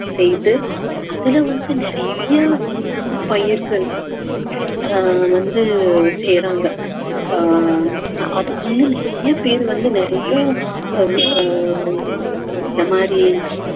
செய்து அதுல வந்து நிறைய பயிர்கள் ஆஹ் வந்து செய்யறாங்க ஆஹ் அதுக்கு வந்து நிறைய பேர் வந்து நிறைய ஆஹ் இந்த மாதிரி